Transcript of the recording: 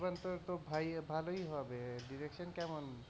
অনির্বাণ তা তো ভালই হবে direction কেমন,